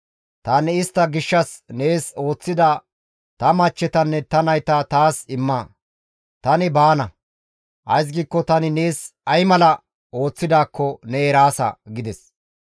Tani istta gishshas nees ooththida ta machchetanne ta nayta taas imma; tani baana; ays giikko tani nees ay mala ooththidaakko ne eraasa» gides.